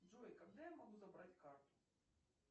джой когда я могу забрать карту